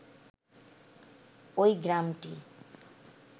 ওই গ্রামটি